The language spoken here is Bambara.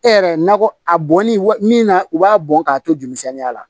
E yɛrɛ nakɔ a bɔnni min na u b'a bɔn k'a to jolimisɛnninya la